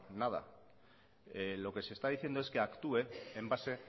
nada lo que se está diciendo es que actúe en base